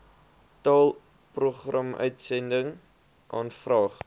taal programuitsending aanvraag